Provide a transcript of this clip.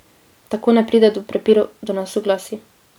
Tako ne pride do prepirov, do nesoglasij.